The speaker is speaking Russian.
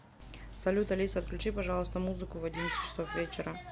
салют алиса отключи пожалуйста музыку в одиннадцать часов вечера